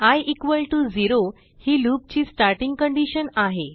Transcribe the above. I 0 ही loop ची starting condition आहे